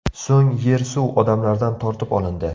So‘ng yer-suv odamlardan tortib olindi.